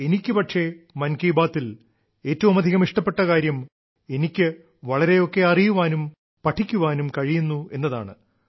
എനിക്കു പക്ഷേ മൻ കി ബാത്തിൽ ഏറ്റവുമധികം ഇഷ്ടപ്പെട്ട കാര്യം എനിക്ക് വളരെയൊക്കെ അറിയുവാനും പഠിക്കാനും കഴിയുന്നു എന്നതാണ്